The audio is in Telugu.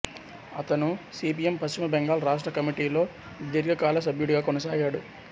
అతను సి పిఎం పశ్చిమ బెంగాల్ రాష్ట్ర కమిటీలో దీర్ఘకాల సభ్యుడుగా కొనసాగాడు